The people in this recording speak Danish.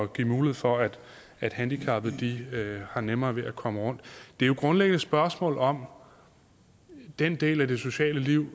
give mulighed for at at handicappede har nemmere ved at komme rundt det er jo grundlæggende et spørgsmål om den del af det sociale liv